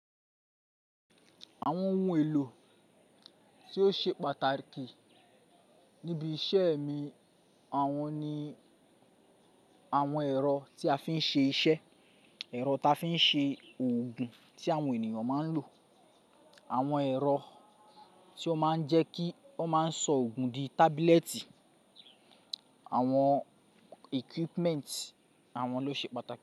Àwọn ohun èlò tí ó ṣe pàtàkì níbi iṣẹ́ mi, àwọn ni àwọn ẹ̀rọ tí a fi ń ṣe iṣẹ́, ẹ̀rọ tí a fi ń ṣe òògùn tí àwọn ènìyàn máa ń lò, àwọn ẹ̀rọ tí ó máa ń jẹ́ kí ọ́ máa ń sọ òògùn di tábílẹ́ẹ̀tì, àwọn equipment àwọn ló ṣe pàtàkì.